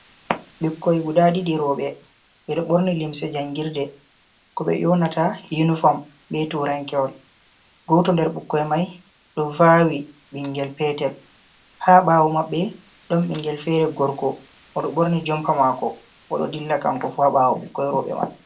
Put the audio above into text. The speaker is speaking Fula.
Ɓikkoy guda ɗiɗi rooɓe, ɓe ɗo ɓorni limse jangirde, ko ɓe ƴonata yunifom be turankewol, gooto nder ɓukkoy may ɗo vaawi ɓinngel peetel, haa ɓaawo maɓɓe ɗon ɓinngel feere gorko o ɗo ɓorni jompa maako, o ɗo dilla kanko fu haa ɓaawo ɓukkoy rooɓe may.